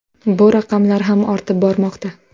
Bu raqamlar ham ortib bormoqda.